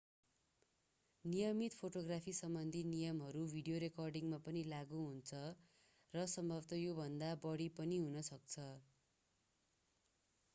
नियमित फोटोग्राफीसम्बन्धी नियमहरू भिडियो रेकर्डिङमा पनि लागू हुन्छ र सम्भवतः योभन्दा बढी पनि हुन सक्छ